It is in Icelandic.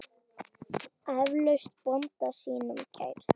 Eflaust bónda sínum kær.